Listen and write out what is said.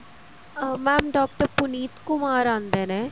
mam doctor Puneet Kumar ਆਂਦੇ ਨੇ